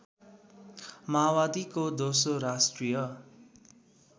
माओवादीको दोस्रो राष्ट्रिय